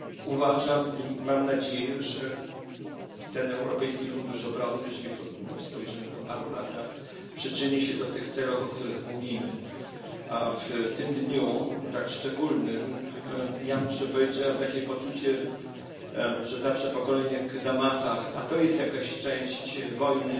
Uważam i mam nadzieję, że ten Europejski Fundusz Obronny, jeżeli spojrzymy nań po paru latach, przyczyni się do tych celów, o których mówimy, a w tym szczególnym dniu muszę powiedzieć, że mam takie poczucie, iż zawsze po kolejnych zamachach, a to jest jakaś część wojny